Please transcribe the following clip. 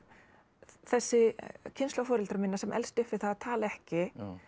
þessi kynslóð foreldra minna sem elst upp við það að tala ekki